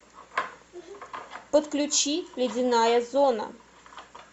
подключи ледяная зона